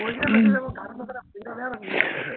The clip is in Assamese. উম